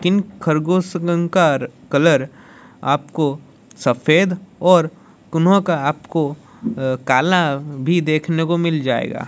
इन खरगोश का कलर आपको सफेद और किन्हों का आपको अह काला भी देखने को मिल जाएगा।